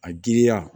A giriya